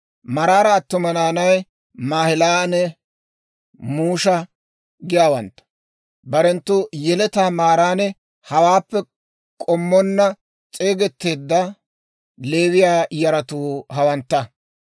Maraara attuma naanay Maahilanne Musha giyaawantta. Barenttu Yeletaa maaran hawaappe k'ommonna s'eegeteedda Leewiyaa yaratuu hawantta.